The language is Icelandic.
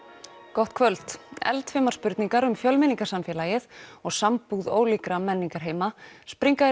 gott kvöld eldfimar spurningar um fjölmenningarsamfélagið og sambúð ólíkra menningarheima springa í